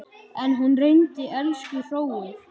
En hún reyndi, elsku hróið.